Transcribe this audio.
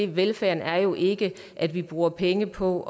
velfærden er jo ikke at vi bruger penge på